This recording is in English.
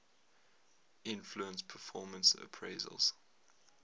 influence performance appraisals